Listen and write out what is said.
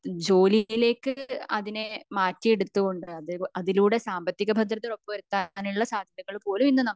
ജോലിയിലേക്ക് അതിനെ മാറ്റിയെടുത്തുകൊണ്ട് അതേപോലെ അതികളുടെ സാമ്പത്തിക ഭദ്രത ഉറപ്പ് വരുത്താനുള്ള സാധ്യത പോലും ഇന്ന് നമുക്ക് ഉണ്ട്